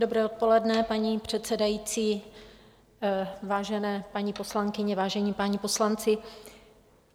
Dobré odpoledne, paní předsedající, vážené paní poslankyně, vážení páni poslanci.